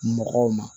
Mɔgɔw ma